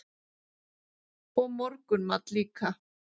Og morgunmat líka.